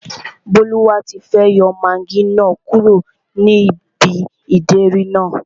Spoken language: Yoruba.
Bólúwatifẹ́ yọ magí náà kúrò ní ibi ìdérí náà